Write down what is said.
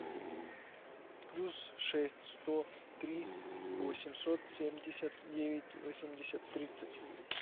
плюс шесть сто три восемьсот семьдесят девять восемьдесят тридцать